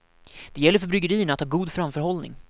Det gäller för bryggerierna att ha god framförhållning.